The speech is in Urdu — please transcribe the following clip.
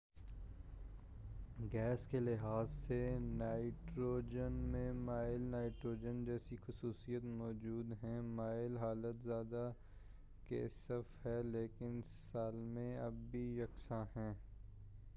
گیس کے لحاظ سے نائٹروجن میں مائع نائٹروجن جیسی خصوصیات موجود ہیں مائع حالت زیادہ کثیف ہے لیکن سالمے اب بھی یکساں ہیں